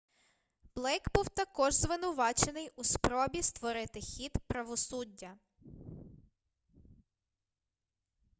блейк був також звинувачений у спробі спотворити хід правосуддя